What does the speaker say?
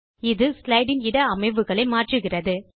இது ஸ்லைடு இன் இட அமைவுகளை மாற்றுகிறது